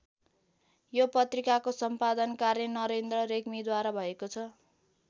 यो पत्रिकाको सम्पादन कार्य नरेन्द्र रेग्मीद्वारा भएको छ।